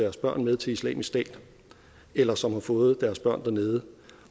deres børn med til islamisk stat eller som har fået deres børn dernede